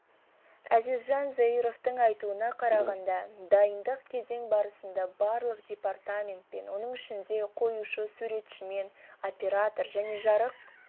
әзизжан заировтың айтуына қарағанда дайындық кезең барысында барлық департаментпен оның ішінде қоюшы суретшімен оператор және жарық